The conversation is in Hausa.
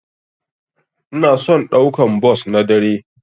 Ina son daukan bos na dare.